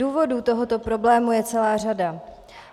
Důvodů tohoto problému je celá řada.